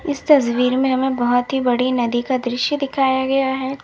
इस तस्वीर में हमें बहुत ही बड़ी नदी का दृश्य दिखाया गया है।